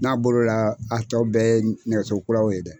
N'a bol'o la a tɔ bɛɛ ye nɛgɛso kuraw ye dɛ.